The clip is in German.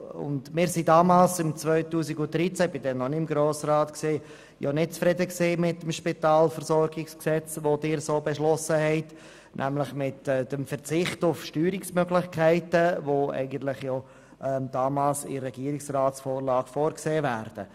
Wir waren im Jahr 2013 – damals war ich noch nicht im Grossen Rat – mit dem Spitalversorgungsgesetz nicht zufrieden, so wie es hier beschlossen wurde, nämlich mit dem Verzicht auf die Steuerungsmöglichkeiten, die damals eigentlich in der Vorlage des Regierungsrats vorgesehen waren.